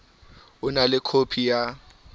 o na le khopi ya